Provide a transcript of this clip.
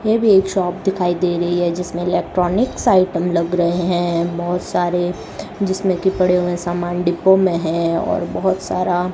ये भी एक शॉप दिखाई दे रही है जिसमें इलेक्ट्रॉनिक्स आइटम लग रहे हैं बहुत सारे जिसमें कि पड़े हुए सामान डिब्बों में है और बहुत सारा --